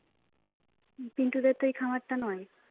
পিন্টুদের তো এই খামারটা নয়